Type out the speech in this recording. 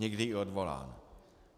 Někdy i odvolán.